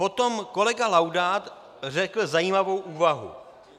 Potom kolega Laudát řekl zajímavou úvahu.